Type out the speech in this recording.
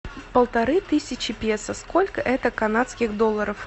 полторы тысячи песо сколько это канадских долларов